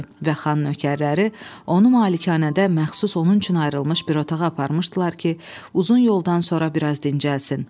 Və xan nökərləri onu malikanədə məxsus onun üçün ayrılmış bir otağa aparmışdılar ki, uzun yoldan sonra bir az dincəlsin.